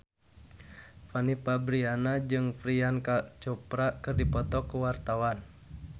Fanny Fabriana jeung Priyanka Chopra keur dipoto ku wartawan